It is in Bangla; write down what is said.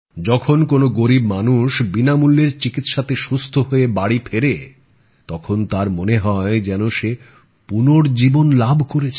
যখন কোন গরীব মানুষ বিনামূল্যের চিকিৎসাতে সুস্থ হয়ে বাড়ি ফেরে তখন তার মনে হয় যেন সে পুনর্জীবন লাভ করেছে